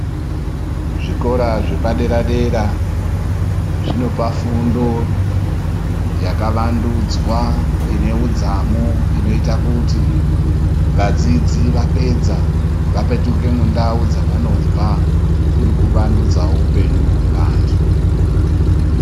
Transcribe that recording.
Zvikora zvepadera dera zvinopa fundo yakavandudzwa ine udzamu inoite kuti vadzidzi vapedza vapetuke mundau dzavanobva kuri kuvandudzawo upenyu hwevantu.